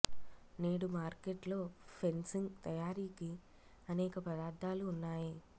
నేడు మార్కెట్ లో ఫెన్సింగ్ తయారీకి అనేక పదార్ధాలు ఉన్నాయి